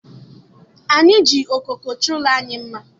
Anyị ji okooko chọọ ụlọ anyị mma.